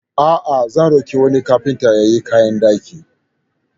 A'a, zan roƙi wani kagintan ya yi kayan dakin.